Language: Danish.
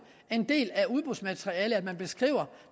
en del af udbudsmaterialet at man beskriver